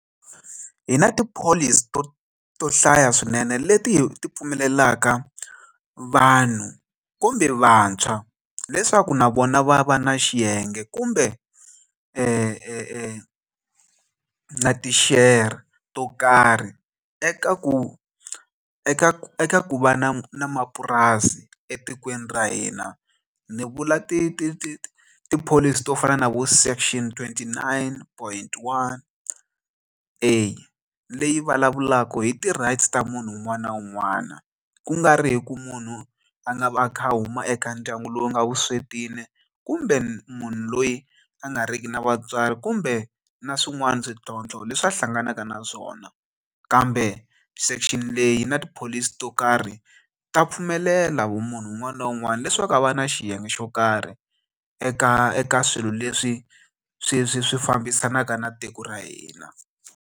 Hi na tipholisi to to hlaya swinene leti hi ti pfumelelaka vanhu kumbe vantshwa leswaku na vona va va na xiyenge kumbe na ti-share to karhi eka ku eka eka ku va na na mapurasi etikweni ra hina ni vula ti ti ti tipholisi to fana na vo section twenty nine point one eya leyi vulavulaka hi ti-rights ta munhu un'wana na un'wana ku nga ri hi ku munhu a nga a kha a huma eka ndyangu lowu nga vuswetini kumbe munhu loyi a nga riki na vatswari kumbe na swin'wana swintlhontlho leswi a hlanganaka na swona kambe section leyi na tipholisi to karhi ta pfumelela vumunhu un'wana na un'wana leswaku a va na xiyenge xo karhi eka eka swilo leswi swi swi swi fambisanaka na tiko ra hina.